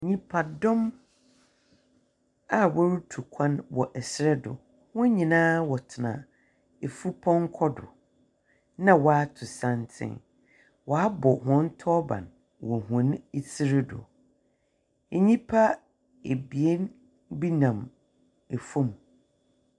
Nnyipadɔm a wɔretu kwan wɔ srɛdo. Wɔn nyinaa wɔtena afur oɔnkɔ do. Na wɔato santsen. Wɔabɔ tɔɔban wɔ hɔn tsir do. Nnyipa ebien bi nam hɔn fam.